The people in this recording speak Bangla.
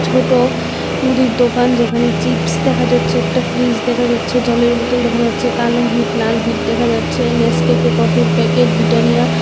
ছোট মুদির দোকান যেখানে চিপস দেখা যাচ্ছে একটা ফ্রিজ দেখা যাচ্ছে জলের বোতল দেখা যাচ্ছে কালো হিট লাল হিট দেখা যাচ্ছে নেসক্যাফে কফির প্যাকেট বিটানিয়া --